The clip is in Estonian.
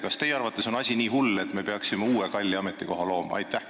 Kas teie arvates on asi nii hull, et me peaksime uue kalli ametikoha looma?